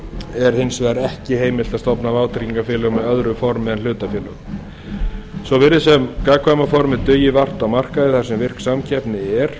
er hins vegar ekki heimilt að stofna vátryggingafélög með öðru formi en sem hlutafélög svo virðist sem gagnkvæma formið dugi vart á markaði þar sem virk samkeppni er